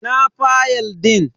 Ina fayal din?